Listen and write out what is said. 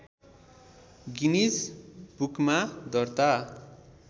Guinness बुकमा दर्ता